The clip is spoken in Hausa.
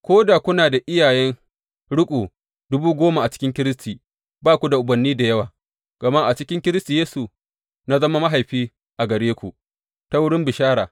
Ko da kuna da iyayen riƙo dubu goma cikin Kiristi, ba ku da ubanni da yawa, gama a cikin Kiristi Yesu, na zama mahaifi a gare ku, ta wurin bishara.